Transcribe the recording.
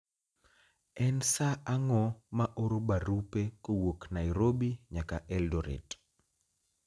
En saa ang'o ma oro barupe kowuok Nairobi nyaka Eldoret